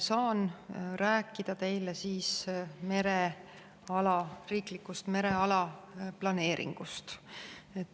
Saan rääkida teile riiklikust mereala planeeringust.